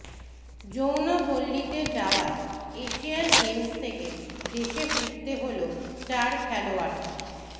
যৌনপল্লিতে যাওয়ায় Asian Games থেকে দেশে ফিরতে হল চার খেলোয়াড়কে